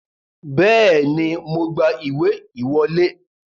Bẹ́ẹ̀ni, mo gba ìwé ìwọlé